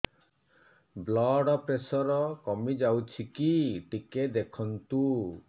blood pressure କମି ଯାଉଛି କି ଟିକେ ଦେଖନ୍ତୁ